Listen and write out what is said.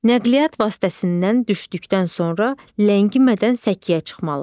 Nəqliyyat vasitəsindən düşdükdən sonra ləngimədən səkiyə çıxmalıdır.